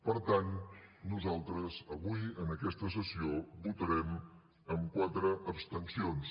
per tant nosaltres avui en aquesta sessió votarem amb quatre abstencions